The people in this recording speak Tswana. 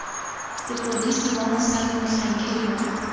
sepodisi wa mosadi motlhankedi wa